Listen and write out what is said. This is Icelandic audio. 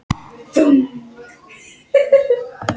Fjölskyldan sat þögul á rúmunum og starði á hana.